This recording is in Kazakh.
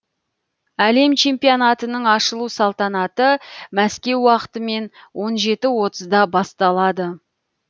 әлем чемпионатының ашылу салтанаты мәскеу уақытымен он жеті отызда басталады